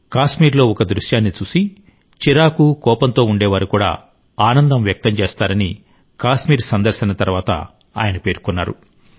కాశ్మీర్లో ఒక దృశ్యాన్ని చూసి చిరాకు కోపంతో ఉండేవారు కూడా ఆనందం వ్యక్తం చేస్తారని కాశ్మీర్ సందర్శన తర్వాత ఆయన పేర్కొన్నారు